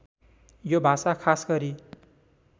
यो भाषा खासगरी